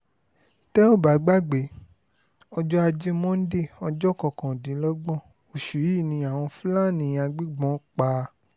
tẹ́ ò bá gbàgbé ọjọ́ ajé monde ọjọ́ kọkàndínlọ́gbọ̀n oṣù yìí ni àwọn fúlàní agbébọ́n pa